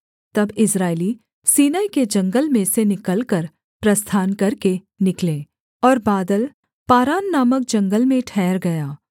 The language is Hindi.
तब इस्राएली सीनै के जंगल में से निकलकर प्रस्थान करके निकले और बादल पारान नामक जंगल में ठहर गया